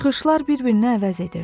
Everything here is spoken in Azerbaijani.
Çıxışlar bir-birinə əvəz edirdi.